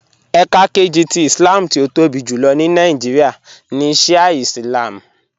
Ẹká kẹjì tì Ìslám tí ó tóbi júlọ̀ ní Nàìjíríà ní Shià Ìslám